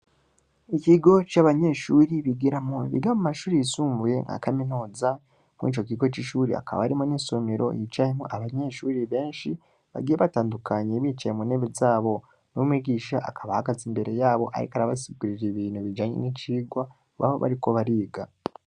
Ikigo c'abanyeshuri bigiramwo, biga mu mashuri yisumbuye nka kaminuza, muri ico kigo c'ishuri, hakaba harimwo n'insomero yicayemwo abanyeshuri benshi, bagiye batandukanye, bicaye mu ntebe zabo, n'umwigisha akaba ahagaze imbere yabo, ariko arabasigurira ibintu bijanye n'icigwa, baba bariko bariga.